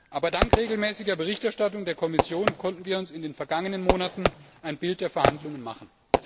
Aber dank regelmäßiger Berichterstattung der Kommission konnten wir uns in den vergangenen Monaten ein Bild von den Verhandlungen machen.